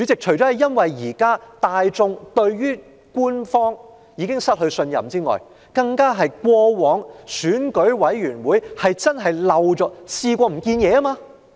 除了因為大眾已對官方失去信任，亦因為選舉事務處過往確曾遺失物件。